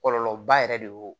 Kɔlɔlɔba yɛrɛ de y'o